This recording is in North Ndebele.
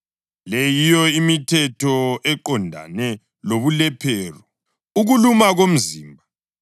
Le yiyo imithetho eqondane lobulephero, ukuluma komzimba,